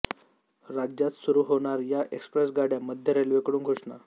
राज्यात सुरू होणार या एक्स्प्रेस गाड्या मध्य रेल्वेकडून घोषणा